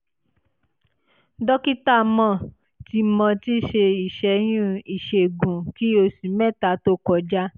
dókítà mo ti mo ti ṣe ìṣẹ́yún ìṣègùn kí oṣù mẹ́ta tó kọjá